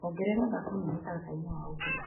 Ongerera thabuni mũtaratara-ini wa ũgũri .